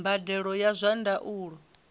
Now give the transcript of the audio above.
mbadelo ya zwa ndaulo i